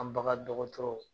An bagan dɔgɔtɔrɔw